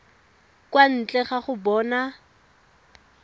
kwa ntle ga go bona